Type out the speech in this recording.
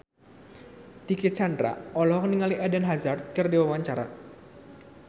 Dicky Chandra olohok ningali Eden Hazard keur diwawancara